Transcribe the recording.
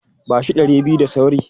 Ba shi ɗari biyu da sauri!